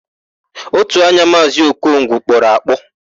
Ótù anya Maazị Okongwu kpọrọ akpọ.